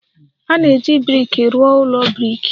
A na-eji brik rụọ ụlọ brik.